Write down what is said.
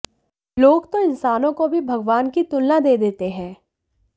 लोग तो इंसानों को भी भगवान की तुलना दे देते हैं